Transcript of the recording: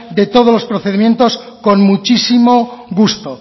de todos los procedimientos con muchísimo gusto